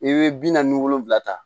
I bɛ bi naani ni wolonwula ta